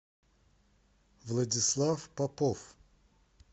владислав попов